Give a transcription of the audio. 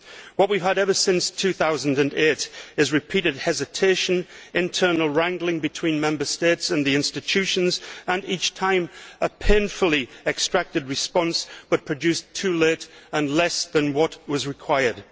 What we have had ever since 2008 is repeated hesitation and internal wrangling between Member States and the institutions, and each time, a painfully extracted response but produced too late and constituting less than what was required.